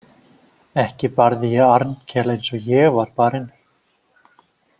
Ekki barði ég Arnkel eins og ég var barinn.